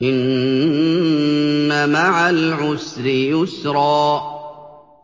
إِنَّ مَعَ الْعُسْرِ يُسْرًا